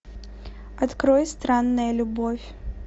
открой странная любовь